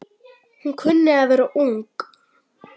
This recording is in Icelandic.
Hún kunni að vera ung.